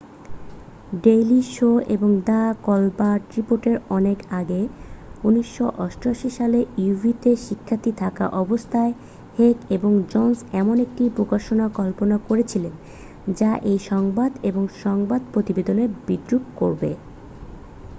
daily show এবং the Colbert রিপোর্টের অনেক আগে 1988 সালে uw তে শিক্ষার্থী থাকা অবস্থায় হেক এবং জনসন এমন একটি প্রকাশনার কল্পনা করেছিলেন যা এই সংবাদ এবং সংবাদ প্রতিবেদনকে বিদ্রূপ করবে